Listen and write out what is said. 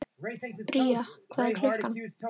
Bría, hvað er klukkan?